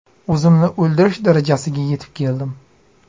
O‘zimni o‘ldirish darajasiga yetib keldim.